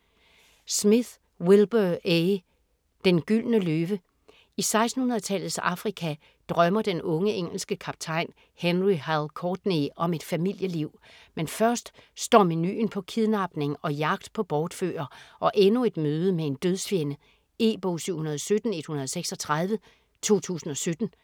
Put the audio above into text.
Smith, Wilbur A.: Den gyldne løve I 1600-tallets Afrika drømmer den unge engelske kaptajn Henry "Hal" Courtney om et familieliv. Men først står menuen på kidnapning og jagt på bortfører, og endnu et møde med en dødsfjende. E-bog 717136 2017.